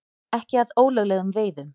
Ekki að ólöglegum veiðum